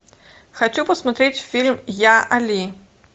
хочу посмотреть фильм я али